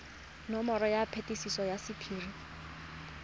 nomoro ya phetiso ya sephiri